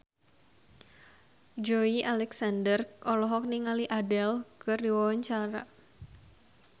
Joey Alexander olohok ningali Adele keur diwawancara